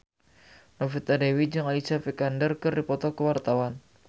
Novita Dewi jeung Alicia Vikander keur dipoto ku wartawan